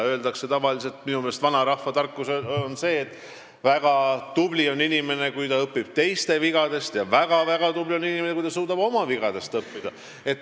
Minu meelest on vanarahva tarkus see, et väga tubli on inimene, kes õpib teiste vigadest, ja väga-väga tubli on inimene, kes suudab oma vigadest õppida.